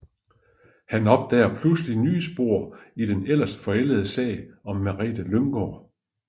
Han opdager pludselig nye spor i den ellers forældede sag om Merete Lyngaard